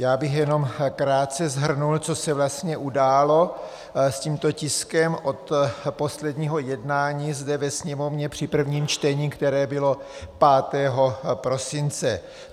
Já bych jenom krátce shrnul, co se vlastně událo s tímto tiskem od posledního jednání zde ve Sněmovně při prvním čtení, které bylo 5. prosince.